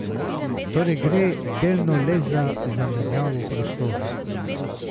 Torej gre delno le za zamenjavo prostorov.